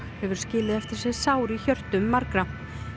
hefur skilið eftir sig sár í hjörtum margra